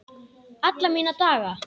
Alla mína daga.